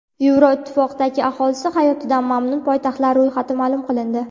Yevroittifoqdagi aholisi hayotidan mamnun poytaxtlar ro‘yxati ma’lum qilindi.